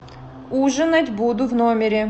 ужинать буду в номере